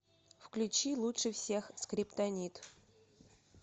включи лучше всех скриптонит